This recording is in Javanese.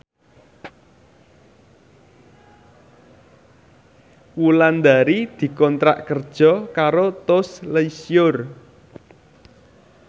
Wulandari dikontrak kerja karo Tous Les Jour